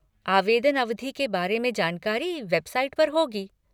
आवेदन अवधि के बारे में जानकारी वेबसाइट पर होगी।